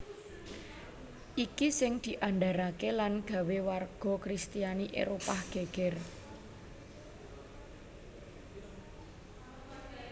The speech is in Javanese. Iki sing diandharake lan gawé warga kristiani Éropah geger